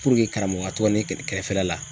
Puruke karamɔgɔ ka to ka ne kɛrɛfɛ la